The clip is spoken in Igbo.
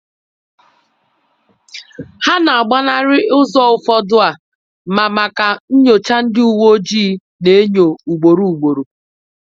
Ha nagbanarị̀ ụzọ ụfọdụ a ma maka nnyocha ndị uweojii na-enyo ugboro ugboro.